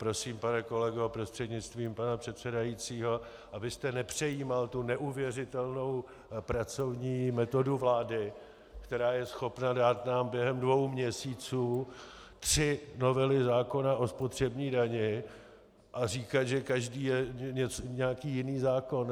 Prosím, pane kolego prostřednictvím pana předsedajícího, abyste nepřejímal tu neuvěřitelnou pracovní metodu vlády, která je schopna nám dát během dvou měsíců tři novely zákona o spotřební dani a říkat, že každá je nějaký jiný zákon.